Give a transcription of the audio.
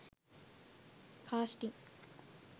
casting